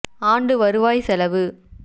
ஆண்டு வருவாய் செலவு